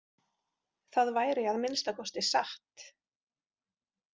Það væri að minnsta kosti satt.